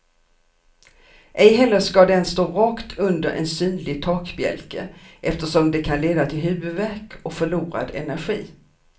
Ej heller ska den stå rakt under en synlig takbjälke eftersom det kan leda till huvudvärk och förlorad energi.